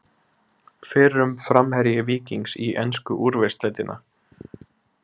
Fyrrum framherji Víkings í ensku úrvalsdeildina?